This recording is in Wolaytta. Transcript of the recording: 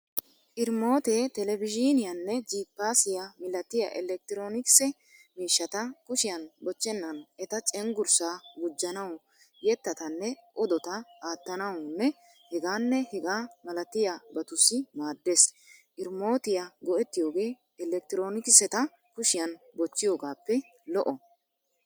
Irimootee televizhiiniyaanne jiippaassiya milatiya elekitiroonikisse miishshata kushiyan bochennan eta cengurssaa gujjanawu, yetatanne odota aattanawunne hegaanne hegaa malabatussi maaddees. Irimootiya go'ettiyogee elekitiroonikiseta kushiyan bochchiyogaappe lo'o.